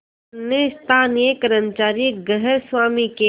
जुम्मन ने स्थानीय कर्मचारीगृहस्वामीके